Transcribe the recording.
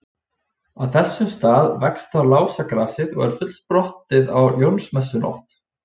Á þessum stað vex þá lásagrasið og er fullsprottið á Jónsmessunótt.